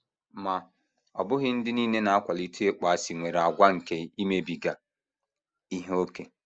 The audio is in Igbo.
Ma, ọ bụghị ndị nile na - akwalite ịkpọasị nwere àgwà nke imebiga ihe ókè.